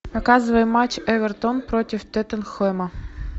показывай матч эвертон против тоттенхэма